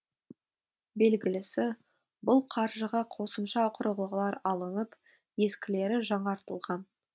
белгілісі бұл қаржыға қосымша құрылғылар алынып ескілері жаңартылған